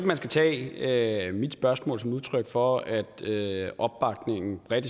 man skal tage mit spørgsmål som udtryk for at opbakningen bredt